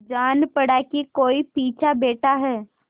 जान पड़ा कि कोई छिपा बैठा है